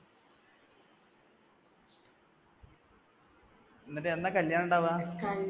എന്നിട്ട് എന്നാ കല്യാണം ഉണ്ടാവാ?